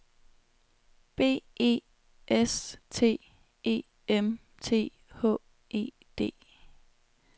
B E S T E M T H E D